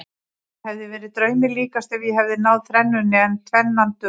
Það hefði verið draumi líkast ef ég hefði náð þrennunni en tvennan dugar.